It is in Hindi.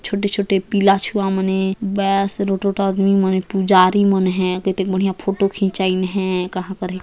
छोटे-छोटे पीला छुआ मन ए बेस रोटो टो आदमी मन ए पुजारी मन है केतेक बढ़िया फोटो खिंचाईन है कहाँ कर है।